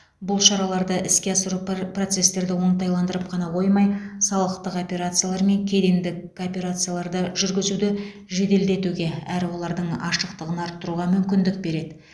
бұл шараларды іске асыру пр процестерді оңтайландырып қана қоймай салықтық операциялар мен кедендік кооперацияларды жүргізуді жеделдетуге әрі олардың ашықтығын арттыруға мүмкіндік береді